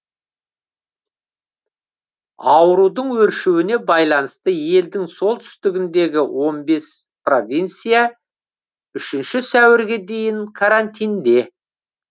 аурудың өршуіне байланысты елдің солтүстігіндегі он беспровинция үшінші сәуірге дейін карантинде